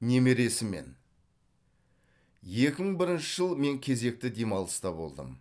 немересімен екі мың бірінші жыл мен кезекті демалыста болдым